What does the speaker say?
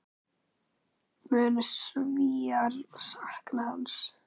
Munu Svíar sakna hans?